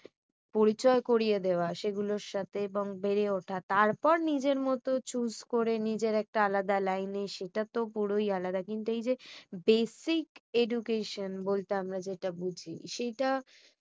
পরিচয় করিয়ে দেওয়া সেগুলোর সাথে এবং বেড়ে ওঠা তারপর নিজের মতো choose করে নিজের একটা আলাদা লাইনে সেটা তো পুরাই আলাদা। কিন্তু এই যে basic education বলতে আমরা যেটা বুঝি